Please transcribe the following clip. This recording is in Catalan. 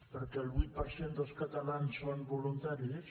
perquè el vuit per cent dels catalans són voluntaris